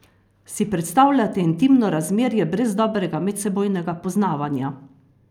Si predstavljate intimno razmerje brez dobrega medsebojnega poznavanja?